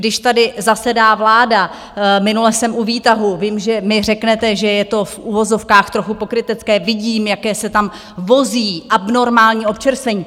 Když tady zasedá vláda, minule jsem u výtahu, vím, že mi řeknete, že je to v uvozovkách trochu pokrytecké, vidím, jaké se tam vozí abnormální občerstvení.